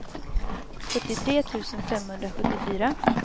sjuttiotre tusen femhundrasjuttiofyra